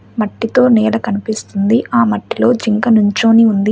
మట్టితో నీడ కనిపిస్తుంది ఆ మట్టిలో జింక నుంచొని ఉంది.